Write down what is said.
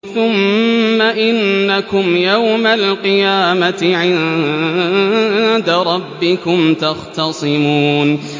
ثُمَّ إِنَّكُمْ يَوْمَ الْقِيَامَةِ عِندَ رَبِّكُمْ تَخْتَصِمُونَ